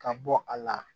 Ka bɔ a la